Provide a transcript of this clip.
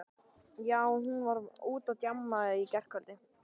Já, hún fór út á djammið í gærkvöldi.